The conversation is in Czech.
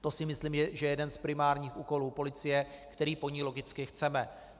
To si myslím, že je jeden z primárních úkolů policie, který po ní logicky chceme.